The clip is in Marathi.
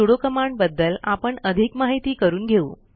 सुडो कमांड बद्दल आपण अधिक माहिती करून घेऊ